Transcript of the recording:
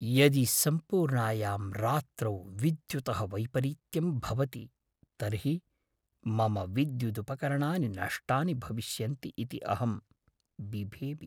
यदि सम्पूर्णायां रात्रौ विद्युतः वैपरीत्यं भवति तर्हि मम विद्युदुपकरणानि नष्टानि भविष्यन्ति इति अहं बिभेमि।